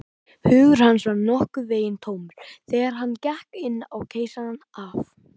Hugur hans var nokkurn veginn tómur, þegar hann gekk inn á Keisarann af